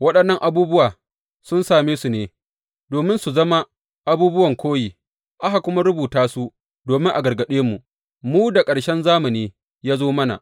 Waɗannnan abubuwa sun same su ne, domin su zama abubuwan koyi, aka kuma rubuta su domin a gargaɗe mu, mu da ƙarshen zamani ya zo mana.